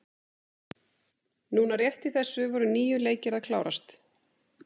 Núna rétt í þessu voru níu leikir að klárast.